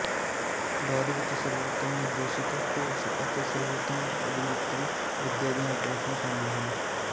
ਬਾਅਦ ਵਿੱਚ ਸਰਬੋਤਮ ਨਿਰਦੇਸ਼ਕ ਘੋਸ਼ ਅਤੇ ਸਰਬੋਤਮ ਅਭਿਨੇਤਰੀ ਵਿਦਿਆ ਦੀਆਂ ਟਰਾਫੀਆਂ ਸ਼ਾਮਲ ਸਨ